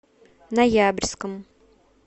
ноябрьском